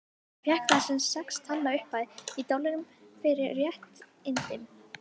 Hann fékk þar sex talna upphæð, í dollurum, fyrir réttindin.